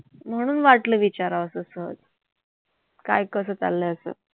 म्हणून वाटलं विचारावंस सहज काय कसं चाललय असं?